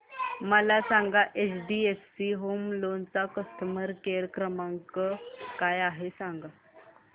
मला सांगा HDFC home loan चा कस्टमर केअर क्रमांक काय आहे